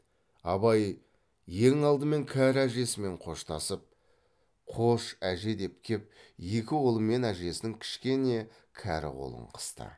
абай ең алдымен кәрі әжесімен қоштасып қош әже деп кеп екі қолымен әжесінің кішкене кәрі қолын қысты